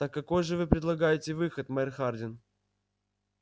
так какой же вы предлагаете выход мэр хардин